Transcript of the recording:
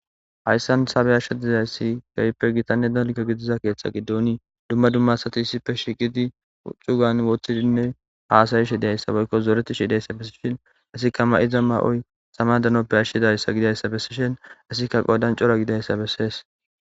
hayssan sabeyashsha dizayssi garippe gitanne dalko gidiza keeththa giddooni dumma dummasati issife shiqidi uxugan woththidinne haasayishi dayssa boykko zooreti shiidayssa bessishin asikka ma7iza ma7oy sama danoppe ashshidayssa gidayssa bessishin asikka qodan cora gidayssa bessees